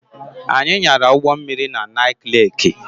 Anyị nyara ụgbọ mmiri na Nike Leeki